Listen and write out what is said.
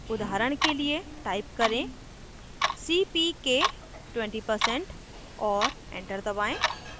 उदाहरण के लिए type करें cpk 20% और enter दबाएं